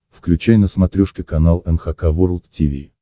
включай на смотрешке канал эн эйч кей волд ти ви